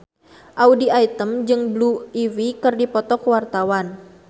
Audy Item jeung Blue Ivy keur dipoto ku wartawan